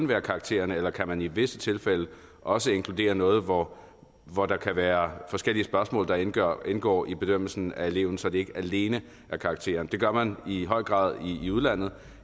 være karaktererne eller kan man i visse tilfælde også inkludere noget hvor hvor der kan være forskellige spørgsmål der indgår indgår i bedømmelsen af eleven så det ikke alene er karakteren det gør man i høj grad i udlandet